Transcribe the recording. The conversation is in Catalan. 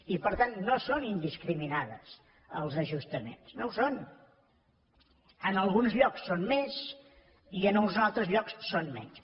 i per tant no són indiscriminats els ajustaments no ho són en alguns llocs són més i en uns altres llocs són menys